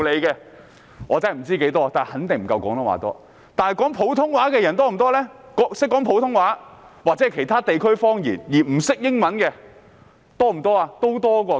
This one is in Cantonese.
然而，懂得說普通話的人，又或是說其他地區方言而不懂英語的人又有多少呢？